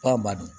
K'a ma di